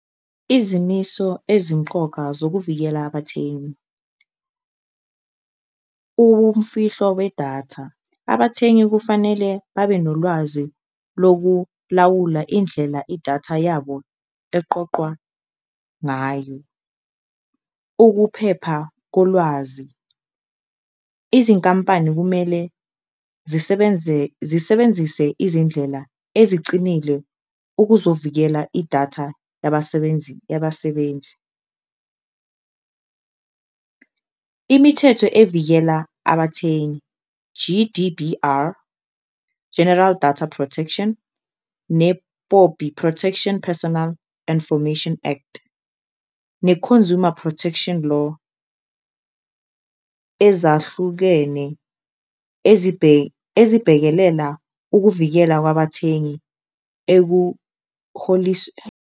Izimiso ezimqoka zokuvikela abathengi umfihlo wedatha, abathengi kufanele babe nolwazi lokulawula indlela idatha yabo eqoqwa ngayo, ukuphepha kolwazi, izinkampani kumele zisebenzise izindlela ezicinile ukuzovikela idatha yabasebenzi . Imithetho evikela abathengi G_D_B_R, General Data protection, ne-POPI, Protection Personal Infomation Act ne-Consumer Protection Law, ezahlukene ezibhekelela ukuvikela kwabathengi .